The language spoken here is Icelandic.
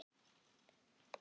Já, ekkert mál!